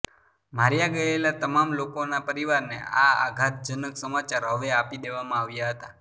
માર્યા ગયેલા તમામ લોકોના પરિવારને આ આઘાતજનક સમાચાર હવે આપી દેવામાં આવ્યા હતા